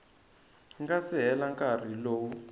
nga si hela nkarhi lowu